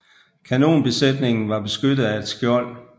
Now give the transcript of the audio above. Kanonbesætningen var beskyttet af et skjold